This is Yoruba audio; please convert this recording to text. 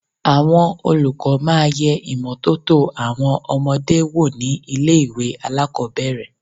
Àwọn olùkọ́ máa yẹ ìmọ́tótó àwọn ọmọdé wò ní ilé ìwẹ̀ alákòbẹ̀rẹ̀.